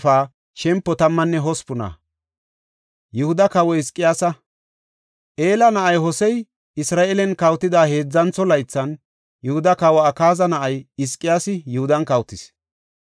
Ela na7ay Hosey Isra7eelen kawotida heedzantho laythan, Yihuda kawa Akaaza na7ay Hizqiyaasi Yihudan kawotis.